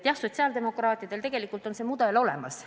Jah, sotsiaaldemokraatidel on tegelikult see mudel olemas.